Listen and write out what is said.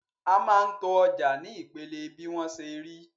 A máa ń to ọjà ní ìpele bí wọ́n ṣe rí.